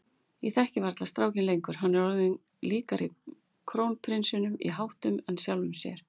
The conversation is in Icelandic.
Ég þekki varla strákinn lengur, hann er orðinn líkari krónprinsinum í háttum en sjálfum mér.